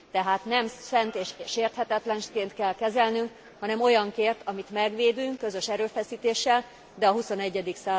Tehát nem szent és sérthetetlenként kell kezelnünk, hanem olyanként, amit megvédünk közös erőfeszítéssel, de a XXI.